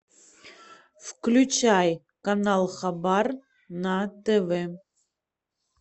включай канал хабар на тв